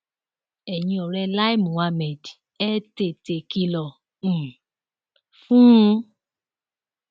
ẹyin ọrẹ lai muhammed ẹ tètè kìlọ um fún un